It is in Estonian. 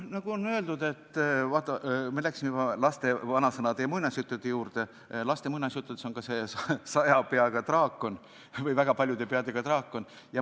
Kuna me nüüd läksime laste vanasõnade ja muinasjuttude juurde, siis olgu öeldud, et laste muinasjuttudes on üks saja peaga või väga paljude peadega draakon.